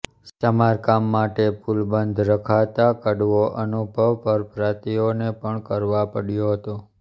સમારકામ માટે પુલ બંધ રખાતા કડવો અનુભવ પરપ્રાતિઓને પણ કરવા પડયો હતો